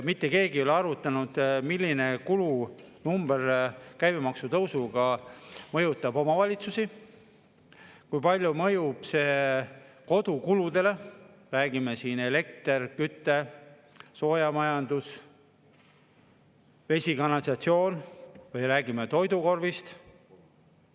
Mitte keegi ei ole arvutanud, milline kulunumber käibemaksu tõusuga mõjutab omavalitsusi, kui palju mõjub see kodukuludele, räägime siin elektrist, küttest, soojamajandusest, veest, kanalisatsioonist või toidukorvist.